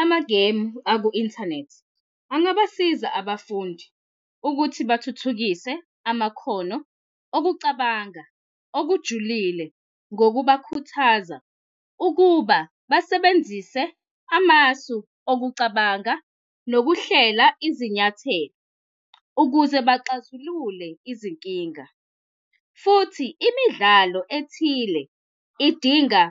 Amagemu aku-inthanethi angabasiza abafundi ukuthi bathuthukise amakhono okucabanga okujulile ngokubakhuthaza ukuba basebenzise amasu owucabanga nokuhlela izinyathelo ukuze baxazululile izinkinga. Futhi imidlalo ethile idinga